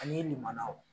Ani nin manaw